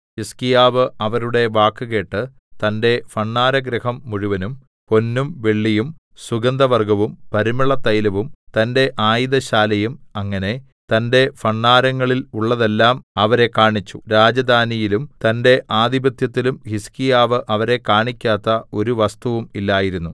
ഹിസ്കീയാവ് അവരുടെ വാക്കുകേട്ട് തന്റെ ഭണ്ഡാരഗൃഹം മുഴുവനും പൊന്നും വെള്ളിയും സുഗന്ധവർഗ്ഗവും പരിമളതൈലവും തന്റെ ആയുധശാലയുംഅങ്ങനെ തന്റെ ഭണ്ഡാരങ്ങളിൽ ഉള്ളതെല്ലാം അവരെ കാണിച്ചു രാജധാനിയിലും തന്റെ ആധിപത്യത്തിലും ഹിസ്കീയാവ് അവരെ കാണിക്കാത്ത ഒരു വസ്തുവും ഇല്ലായിരുന്നു